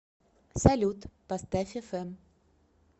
салют поставь эфэм